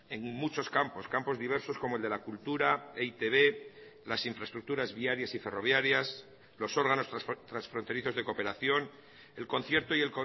en muchos campos campos diversos como el de la cultura e i te be las infraestructuras viarias y ferroviarias los órganos transfronterizos de cooperación el concierto y